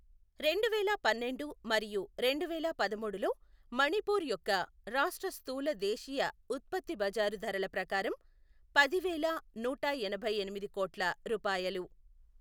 రెండువేల పన్నెండు మరియు రెండువేల పదమూడులో మణిపూర్ యొక్క రాష్ట్ర స్థూల దేశీయ ఉత్పత్తి బజారు ధరల ప్రకారం పదివేల నూట ఎనభై ఎనిమిది కోట్ల రూపాయలు.